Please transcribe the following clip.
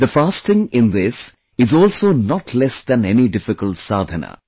The fasting in this is also not less than any difficult sadhna